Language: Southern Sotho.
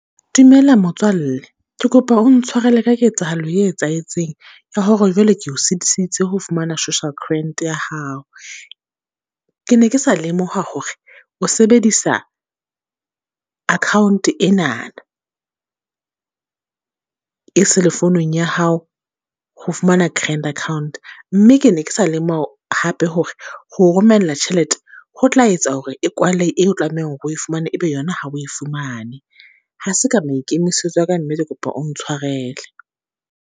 Dumela motswalle, ke kopa o ntshwarele ka ketsahalo e etsahetseng. Ya hore jwale ke o sitisitse ho fumana social grant ya hao. Ke ne ke sa lemoha hore o sebedisa account enana, e cell-e founung ya hao ho fumana grand account. Mme ke ne ke sa lemoha hape hore ho o romella tjhelete, ho tla etsa hore e kwale e o tlamehang hore o e fumane e be yona ha o e fumane. Ha se ka maikemisetso a ka, mme ke kopa o ntshwarele.